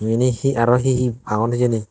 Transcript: ibe hee aro hee hee agon hijeni.